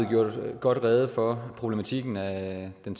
gjort godt rede for problematikken af den